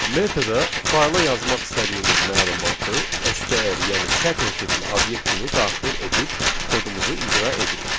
Metoda fayla yazmaq istədiyimiz məlumatı STR, yəni sətr tipli obyekt kimi daxil edib kodumuzu icra edirik.